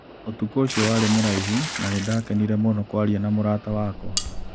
Ũtukũ ũcio warĩ mũraihu na nĩ ndakenire mũno kwaria na mũrata wakwa.